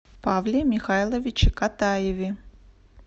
павле михайловиче катаеве